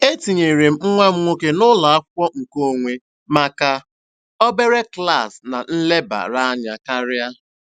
E tinyere m nwa m nwoke n'ụlọ akwụkwọ nkeonwe maka obere klaasị na nlebara anya karịa.